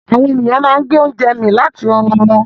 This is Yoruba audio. Àwọn ènìyàn máa ń gbé oúnjẹ mì láti ẹnu wọn.